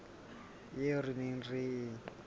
eo re neng re e